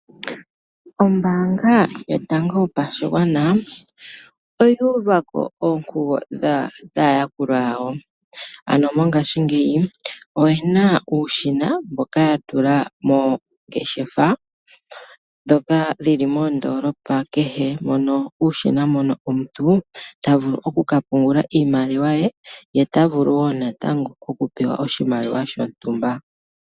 Ombaanga yotango yopashigwan oya uvako oonkugo dhaa yakulwa yawo, ano mongaashingeyi oyena uushina mboka ya tula moongeshefa ndhoka dhi li moondoolopa kehe. Uushina mono omuntu ta vulu oku ka pungula iimaliwa ye, ye ota vulu wo natango oku pewa oshimaliwa shontumba.